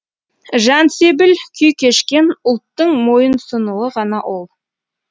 жансебіл күй кешкен ұлттың мойынсұнуы ғана ол